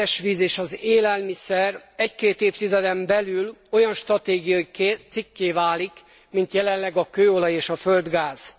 Az édesvíz és az élelmiszer egy két évtizeden belül olyan stratégiai cikké válik, mint jelenleg a kőolaj és a földgáz.